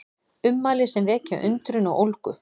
Ummæli sem vekja undrun og ólgu